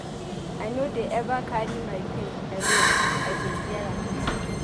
I no dey eva carry my pain alone I dey share am.